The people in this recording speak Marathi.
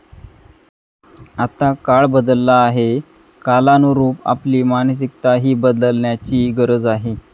आता काळ बदलला आहे, कालानुरूप आपली मानसिकताही बदलण्याची गरज आहे.